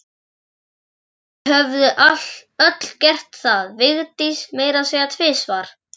Þau höfðu öll gert það, Vigdís meira að segja tvisvar.